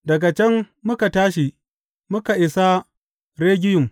Daga can muka tashi muka isa Regiyum.